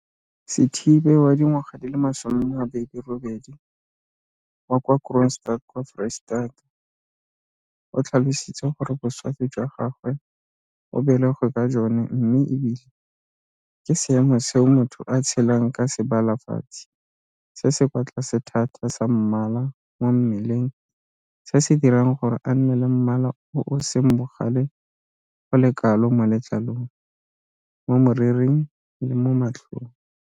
Sithibe 28 wa kwa Kroonstad kwa Foreistata, o tlhalositse gore boswafi jwa gagwe o belegwe ka jone mme e bile ke seemo seo motho a tshelang ka sebalafatsi se se kwa tlase thata sa mmala mo mmeleng se se dirang gore a nne le mmala o o seng bogale go le kalo mo letlalong, mo moriring le mo matlhong.